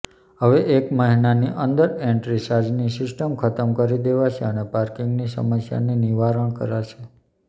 હવે એક મહિનાની અંદર એન્ટ્રી ચાર્જની સિસ્ટમ ખતમ કરી દેવાશે અને પાર્કીગની સમસ્યાની નિવારણ કરાશે